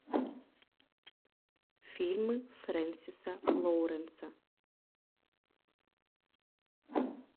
фильма фрэнсиса лоуренса